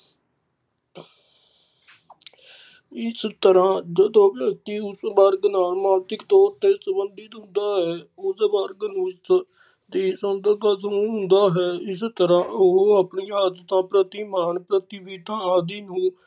ਇਸ ਤਰਾਂ ਜਦੋਂ ਵਿਅਕਤੀ ਉੁਸ ਵਰਗ ਨਾਲ ਮਾਨਸਿਕ ਤੌਰ ਤੇ ਸੰਬੰਧਿਤ ਹੁੰਦਾ ਹੈ ਉਸ ਵਰਗ ਨੂੰ ਦੀ ਸੰਦਕ ਸਮੂਹ ਹੁੰਦਾ ਹੈ ਇਸ ਤਰਾਂ ਉਹ ਆਪਣੀ ਆਦਤਾਂ ਪ੍ਰਤੀ, ਮਾਨ ਪ੍ਰਤੀ, ਵਿੱਥਾਂ ਆਦਿ ਨੂੰ।